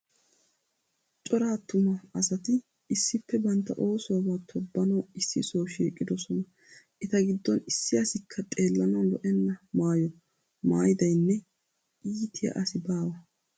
Cora attuma asat issippe bantta oosuwaba tobbnawu issi soha shiiqidosona. Eta giddon issi asikka xeellanawu lo'enna maayo maaydaynne iitiya asi baawa.